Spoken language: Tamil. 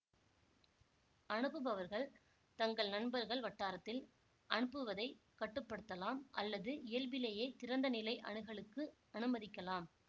அனுப்புபவர்கள் தங்கள் நண்பர்கள் வட்டாரத்தில் அனுப்புவதைக் கட்டுப்படுத்தலாம் அல்லது இயல்பிலேயே திறந்த நிலை அணுகலுக்கு அனுமதிக்கலாம்